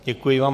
Děkuji vám.